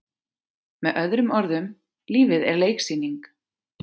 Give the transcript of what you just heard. Með öðrum orðum- lífið er leiksýning.